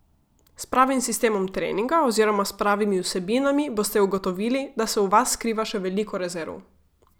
S pravim sistemom treninga oziroma s pravimi vsebinami boste ugotovili, da se v vas skriva še veliko rezerv.